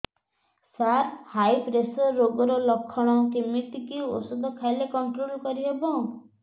ସାର high pressure ରୋଗର ଲଖଣ କେମିତି କି ଓଷଧ ଖାଇଲେ କଂଟ୍ରୋଲ କରିହେବ